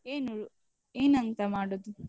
ಏನು ಏನಂತ ಮಾಡುದು?